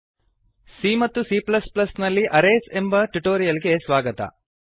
c ಮತ್ತು c ನಲ್ಲಿ arrays ಎಂಬ ಟ್ಯುಟೋರಿಯಲ್ ಗೆ ಸ್ವಾಗತ